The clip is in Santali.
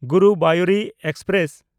ᱜᱩᱨᱩᱵᱟᱭᱩᱨ ᱮᱠᱥᱯᱨᱮᱥ